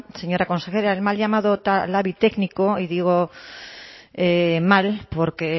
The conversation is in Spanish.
señora consejera el mal llamado labi técnico y digo mal porque